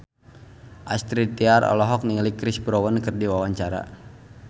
Astrid Tiar olohok ningali Chris Brown keur diwawancara